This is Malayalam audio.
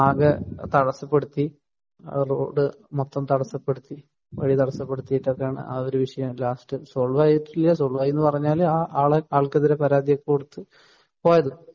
തടസ്സപ്പെടുത്തി ആ റോഡ് മൊത്തം തടസ്സപ്പെടുത്തി യിട്ട് ഒക്കെയാണ് ആ ഒരു വിഷയം ലാസ്റ്റ് സോൾവ് ആക്കി സോൾവ് ആയിട്ടില്ല സോൾവ് ആയിന്നു പറഞ്ഞാൽ ആ ആള് ആൾക്കെതിരെ പരാതിയൊക്കെ കൊടുത്ത പോയത്